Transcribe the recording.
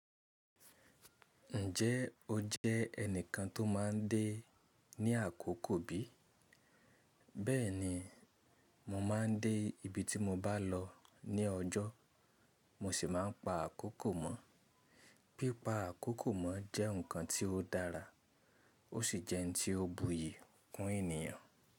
Ǹjẹ́ o jẹ́ ẹnìkan tó ma ń dé ní àkókò bí? Bẹ́ẹ̀ni, mo ma ń dé ibi tí mo bá lọ ní ọjọ́, mo sì má ń pa àkókò mọ́. Pípa àkókò mọ́ jẹ́ nǹkan tí ó dára, ó sì jẹ́ ohun tí ó buyì kún ènìyàn.